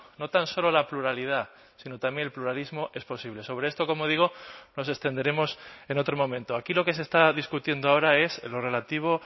no tan solo la pluralidad sino también el pluralismo es posible sobre esto como digo nos extenderemos en otro momento aquí lo que se está discutiendo ahora es en lo relativo